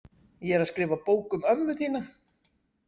Ég er að skrifa bók um ömmu þína.